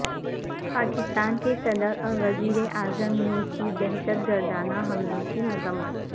پاکستان کے صدر اور وزیر اعظم نے کی دہشت گردانہ حملوں کی مذمت